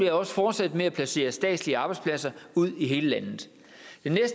vil også fortsætte med at placere statslige arbejdspladser ud i hele landet